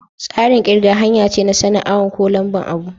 Tsarin kirga hanya ce na sani'n awon ko lamba'n abu.